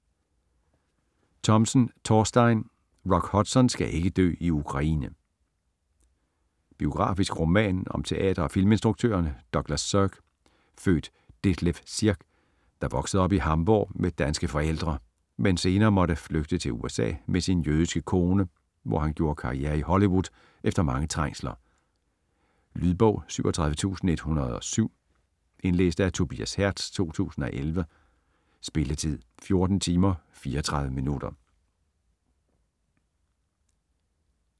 Thomsen, Thorstein: Rock Hudson skal ikke dø i Ukraine Biografisk roman om teater- og filminstruktøren Douglas Sirk, født Detlef Sierck, der voksede op i Hamborg med danske forældre, men senere måtte flygte til USA med sin jødiske kone, hvor han gjorde karriere i Hollywood efter mange trængsler. Lydbog 37107 Indlæst af Tobias Hertz, 2011. Spilletid: 14 timer, 34 minutter.